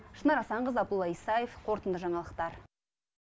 шынар асанқызы абдулла исаев қорытынды жаңалықтар